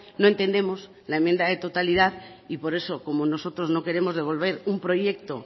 no entendemos la enmienda de totalidad y por eso como nosotros no queremos devolver un proyecto